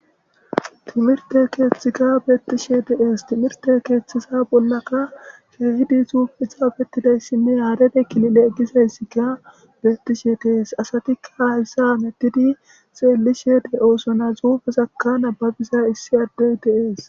Timirite kethiyika betishe de'es timirte kethaza bolla ka kehidi xufeyi xafetidaysi betishe de'es arebe kilile gizagsika betishe de'es asatika haysa hamutidi xelishe de'osona xufezaka nababiza issi addey de'es